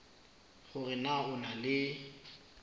hore na o na le